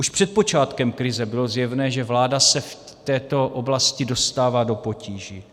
Už před počátkem krize bylo zjevné, že vláda se v této oblasti dostává do potíží.